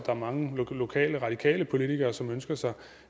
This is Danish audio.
er mange lokale radikale politikere som ønsker sig